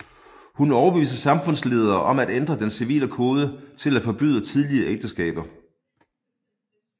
Hun overbeviste samfundsledere om at ændre den civile kode til at forbyde tidlige ægteskaber